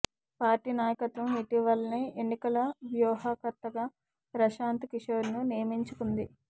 party నాయకత్వం ఇటీవలనే ఎన్నికల వ్యూహకర్తగా ప్రశాంత్ కిషోర్ ను నియమించుకొంది